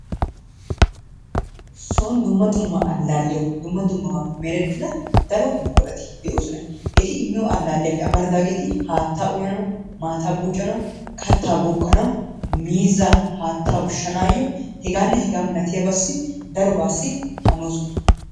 Son dumma dumma allaalliyawu dumma dummabaappe merettida daro buqurati de'oosona. Eti immiyo allaalliyappe amaridaageeti haattaa uyanawu, maataa buuccanawu, kattaa bookkanawu, miizzaa haattaa ushshanaayyo hegaanne hegaa milatiyabaassi darobaassi hanoosona.